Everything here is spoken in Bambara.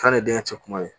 K'a ni denkɛ cɛ kuma ye